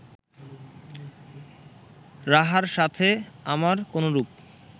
রাহার সাথে আমার কোনরূপ